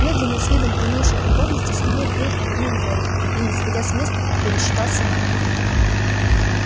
медленно с видом полнейшей покорности судьбе билл повернул голову и не сходя с места пересчитал собак